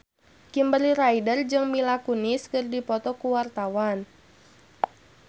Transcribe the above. Kimberly Ryder jeung Mila Kunis keur dipoto ku wartawan